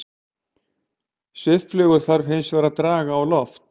Svifflugur þarf hins vegar að draga á loft.